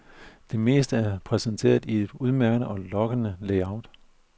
Det meste er præsenteret i et udmærket og lokkende layout.